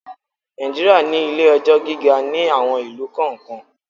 Nàìjíríà ní ilé-ẹjọ́ gíga ní àwon ìlú kọ̀ọ́kan.